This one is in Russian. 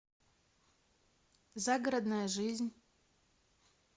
загородная жизнь